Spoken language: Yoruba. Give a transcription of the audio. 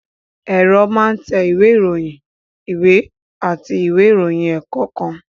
Ẹ̀rọ máa ń tẹ ìwé ìròyìn, ìwé àti ìwé ìròyìn ẹ̀kọ́ kan